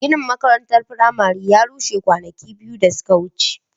Ginin makarantar firamare ya rushe kwanaki biyu da suka wuce.